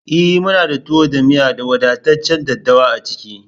E! muna da tuwo da miyan da wadataccen daɗɗawa a ciki.